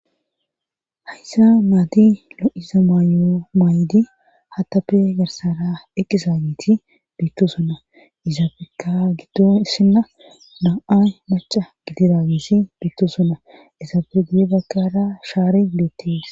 hayssa maadi lo7iza maayo maaydi hatabe garsara eqqizayiti biitto sona izaabeka giddo issinna na7ay moca gidiragisi betosonna izaafe gie dagkara shaari beetties